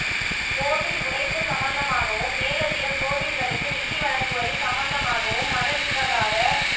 கோவில் உடைப்பு சம்பந்தமாகவும் மேலதிக கோவில்களுக்கு நிதி வழங்குவது சம்பந்தமாகவும் மத விவகார